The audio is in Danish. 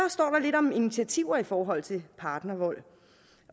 lidt om initiativer i forhold til partnervold